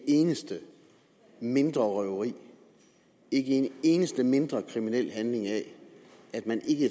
eneste mindre røveri ikke en eneste mindre kriminel handling af at man ikke